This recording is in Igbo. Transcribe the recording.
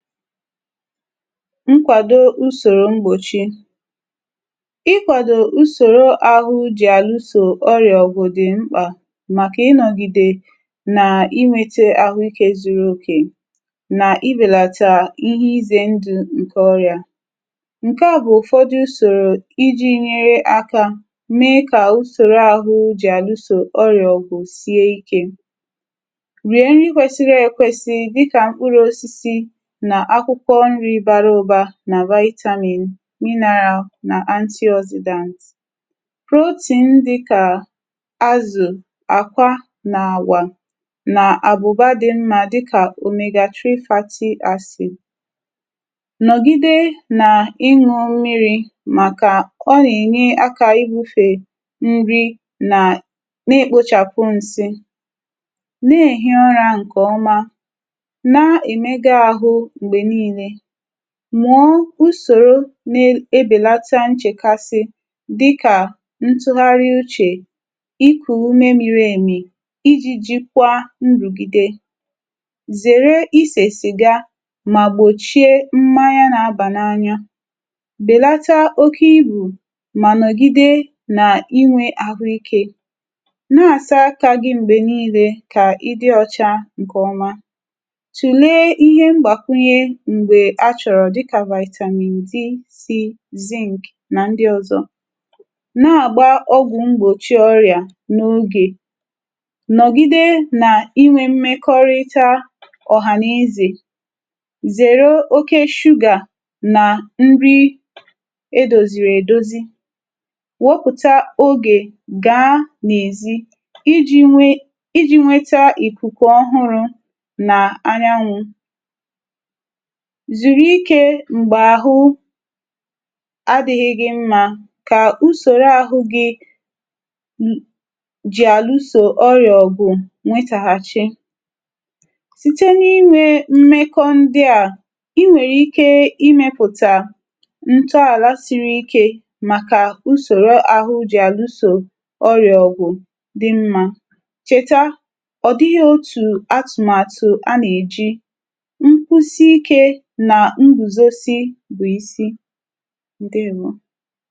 Nkwàdo ùsòrò mgbòchi ikwàdo ùsòrò àhụ jì àlụ sò ọrị̀à ògwù dì mkpà màkà ịnọ̀gìdè nà inwėtė àhụikė zuru okè, nà ibèlàtà ihe izė ndù ǹkè ọrị̀à. Nkè a bụ̀ ụ̀fọdụ usòrò iji̇ nyere aka mee kà ùsòrò àhụ jì àlụsò ọrị̀à ògwù sie ikė: rìe nrì kwesiri ekwesi dịkà mkpụrụ̇ osisi nà akwukwo nri bara uba na vitamin mineral nà antioxidants, protein dịkà azụ̀ àkwa nà àwà nà àbụ̀ba dị mmȧ dịkà Omega three fatty acid; nọ̀gide nà ịṅụ̇ mmiri̇ màkà nọ̀ghà n’ìnye akȧ ịhufè nri nà na-ekpochapụ nsị. Na-èhi ọrȧ ǹkè ọma. Na emega ahu mgbe niile. Mùọ usòro na n’ebèlata nchèkasi dịkà ntụ̀ghàrị̀ uchè, ikù ume miri èmì, iji̇ jikwa ndùgìde. Zère isè sìga mà gbòchie mmanya na abà n’anya. Bèlata oke ibù mà nọ̀gide nà inwė àhụ ikė. Na-àsa akȧ gị m̀gbè niile kà ịdị ọcha ǹkè ọma. Tule ihe ngbakwunye m̀gbè achọrọ dịka vitamin D six, zink na ndị ọzọ̇. Na-agba ọgwụ̀ mgbòchi ọrịà n’ogè. Nọ̀gide nà inwė mmekọrịta ọ̀hà na ezè. Zère oke sugar nà nri edozìrì èdozi. Wepùta ogè gaa n’èzi iji̇ nwe iji̇ nweta ìkùkù ọhụrụ̇ nà anyanwụ̇. Zùru ikė m̀gbè àhụ adị̇ghị̇ gị mmȧ kà usòro àhụ gị̇ jì àlụsò ọrị̀ọ̇ gụ̀ nwetàhàchi. Site n’inwė mmekọ ndị̇ à, i nwèrè ike imėpụ̀tà ntọàla siri ikė màkà usòro àhụ jì àlụsò ọrị̀ọ̇ gụ̀ dị mmȧ. Chèta ọ̀ dịghị̇ otù atụ̀màtụ̀ a nà-èji ngwusi ike bụ̀ isi ike na nguzosike bu isi, ǹdeèwo.